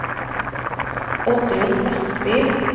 Oddrun Østby